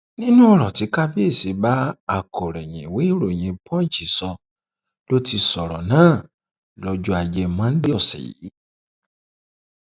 nínú ọrọ tí kábíyèsí bá akọròyìn ìwé ìròyìn punch sọ ló ti sọrọ náà lọjọ ajé monde ọsẹ yìí